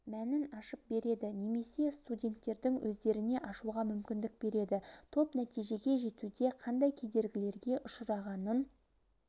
мәнін ашып береді немесе студенттердің өздеріне ашуға мүмкіндік береді топ нәтижеге жетуде қандай кедергілерге ұшырағынын